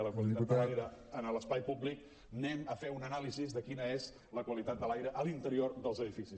i la qualitat de l’aire a l’espai públic anem a fer una anàlisi de quina és la qua·litat de l’aire a l’interior dels edificis